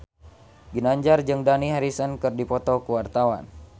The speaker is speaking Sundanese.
Ginanjar jeung Dani Harrison keur dipoto ku wartawan